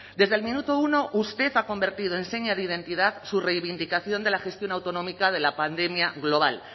desde el minuto uno usted ha convertido en seña de identidad su reivindicación de la gestión autonómica de la pandemia global